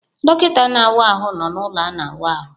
Dọkịta na-awa ahụ nọ na ụlọ a na wa ahụ.